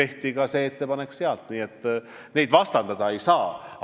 Nii et neid asju vastandada ei saa.